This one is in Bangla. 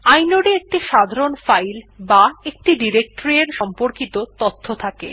ইনোড এ একটি সাধারণ ফাইল বা একটি ডিরেকটরি এর সম্পর্কিত তথ্য থাকে